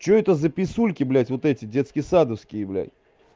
что это за писульки блядь вот эти детски садовские блядь